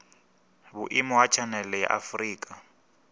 vhuimo ha tshanele ya afurika